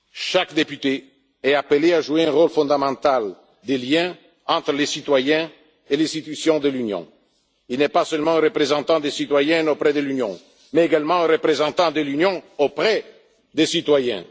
citoyens. Chaque député est appelé à jouer un rôle fondamental de lien entre les citoyens et les institutions de l'Union il n'est pas seulement un représentant des citoyens auprès de l'Union, mais également un représentant de l'Union auprès des